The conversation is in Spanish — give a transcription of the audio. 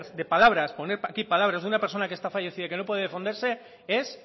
de palabra poner aquí palabras de una persona que está fallecida y que no puede defenderse es